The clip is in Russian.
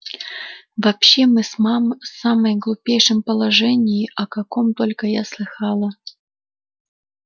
вообще мы в самом глупейшем положении о каком только я слыхала